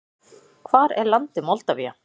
Hvar er landið Moldavía?